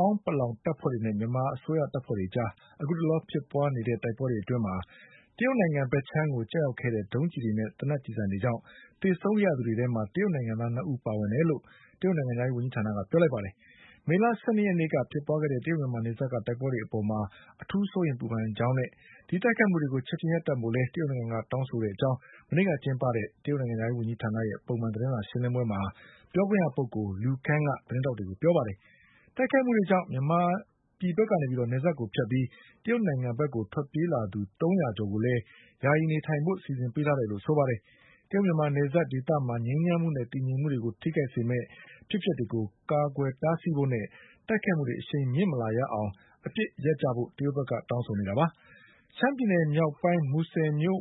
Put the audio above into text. ာင်းပလောင်တပ်ဖွဲ့တွေနဲ့ မြန်မာအစိုးရတပ်ဖွဲ့တွေအကြား အခုတလော ဖြစ်ပွါး နေတဲ့ တိုက်ပွဲတွေအတွင်း တရုတ်နိုင်ငံဘက်ခြမ်းကိုကျရောက်ခဲ့တဲ့ ဒုံးကျည်တွေနဲ့ သေနတ်ကျည်ဆံတွေကြောင့် သေဆုံးခဲ့ရတဲ့သူတွေထဲမှာ တရုတ်နိုင်ငံသား၂ဦးပါဝင်တယ်လို့ တရုတ်နိုင်ငံခြားရေးဝန်ကြီးဌာနကပြောပါတယ်။ မေလ ၁၂ရက် နေ့ကဖြစ်ပွါးခဲ့တဲ့ တရုတ်-မြန်မာနယ်စပ်ကတိုက်ပွဲတွေအပေါ် အထူးစိုးရိမ်ပူပန်တဲ့အကြောင်းနဲ့တိုက်ခိုက်မှုတွေကို ချက်ချင်းရပ်တန့်ဖို့ကိုလည်း တရုတ်နိုင်ငံကတောင်းဆိုတယ်လို့ မနေ့ကကျင်းပတဲ့ တရုတ်နိုင်ငံခြားရေးဝန်ကြီးဌာနရဲ့ ပုံမှန် သတင်းစာရှင်းလင်းပွဲမှာ ပြောခွင့်ရပုဂ္ဂိုလ် Lu Kang က သတင်းထောက်တွေကိုပြောပါတယ်။ တိုက်ခိုက်မှုတွေကြောင့် မြန်မာပြည်ဘက်ကနေ နယ်စပ်ကိုဖြတ်ပြီး တရုတ်နိုင်ငံဘက်ကိုထွက်ပြေးလာသူ သုံးရာကျော် ကိုလည်း ယာယီနေထိုင် ဖို့စီစဉ်ပေးထားတယ်လို့လည်းဆိုပါတယ်။ တရုတ်-မြန်မာနယ်စပ်ဒေသမှာ ငြိမ်းချမ်းမှုနဲ့တည်ငြိမ်မှုတွေကိုထိခိုက်စေမယ့် အဖြစ်အပျက်တွေကို ကာကွယ်တားဆီးဖို့နဲ့ တိုက်ခိုက်မှုတွေအရှိန်မမြင့်လာရအောင် အပစ်ရပ်ကြဖို့တရုတ်ဘက်က တောင်းဆိုနေတာပါ။ ရှမ်းပြည်နယ်မြောက်ပိုင်း မူဆယ်မြို့